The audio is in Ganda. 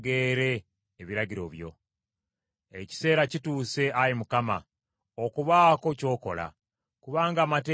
Ekiseera kituuse, Ayi Mukama , okubaako ky’okola, kubanga amateeka go gamenyeddwa.